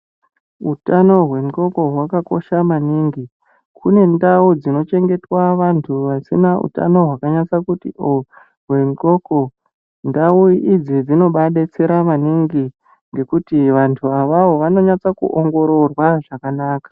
Utano wenqondo wakakosha manhingi kune ndau dzinochengetwa antu asina utano hwakati kuti wenqondo, ndau idzi dzinovabetsera maningi nekuti antu awawo anoongororwa zvakanaka